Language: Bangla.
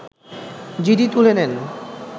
জিডি তুলে নেন